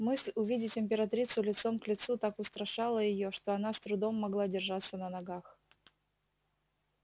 мысль увидеть императрицу лицом к лицу так устрашала её что она с трудом могла держаться на ногах